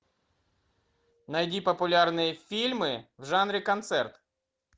найди популярные фильмы в жанре концерт